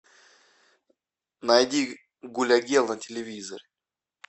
найди гуля гел на телевизоре